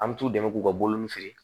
An bɛ t'u dɛmɛ k'u ka boloni feere